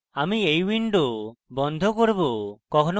আমি এই window বন্ধ করব